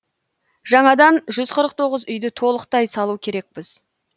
жаңадан жүз қырық тоғыз үйді толықтай салу керекпіз